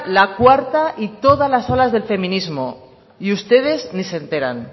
la cuarta y todas las olas del feminismo y ustedes ni se enteran